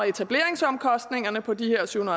etableringsomkostningerne på de her syv